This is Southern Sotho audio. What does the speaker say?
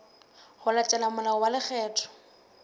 ho latela molao wa lekgetho